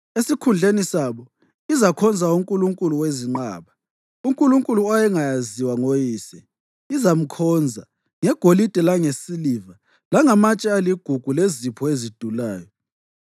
Esikhundleni sabo izakhonza unkulunkulu wezinqaba, unkulunkulu owayengaziwa ngoyise izamkhonza ngegolide langesiliva langamatshe aligugu lezipho ezidulayo.